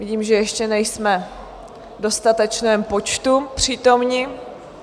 Vidím, že ještě nejsme v dostatečném počtu přítomni.